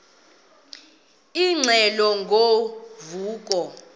ingxelo ngo vuko